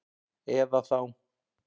Eða þá